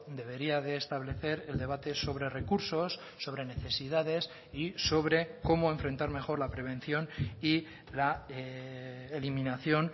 debería de establecer el debate sobre recursos sobre necesidades y sobre cómo enfrentar mejor la prevención y la eliminación